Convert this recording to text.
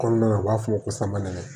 Kɔnɔna na u b'a f'o ma ko samanɛni